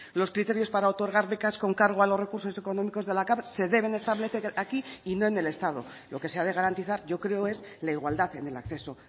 los criterios para otorgar becas con cargo a los recursos económicos de la cav se deben establecer aquí y no en el estado lo que se ha de garantizar yo creo es la igualdad en el acceso